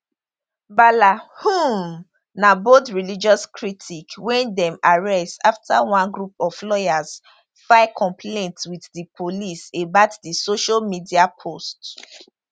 bala um na bold religious critic wey dem arrest afta one group of lawyers file complaint wit di police about di social media post